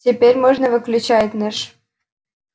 теперь можно выключать наш